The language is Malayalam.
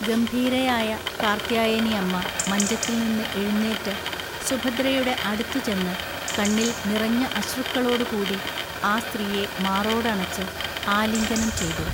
ഗംഭീരയായ കാർത്യായനിഅമ്മ മഞ്ചത്തിൽനിന്ന് എഴുന്നേറ്റ്, സുഭദ്രയുടെ അടുത്തുചെന്ന്, കണ്ണിൽ നിറഞ്ഞ അശ്രുക്കളോടുകൂടി ആ സ്ത്രീയെ മാറോടണച്ച് ആലിംഗനം ചെയ്തു.